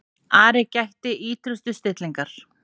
Ari gætti ýtrustu stillingar.